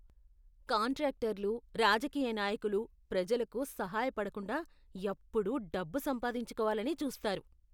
కాంట్రాక్టర్లు, రాజకీయ నాయకులు ప్రజలకు సహాయ పడకుండా ఎప్పుడూ డబ్బు సంపాదించుకోవాలనే చూస్తారు.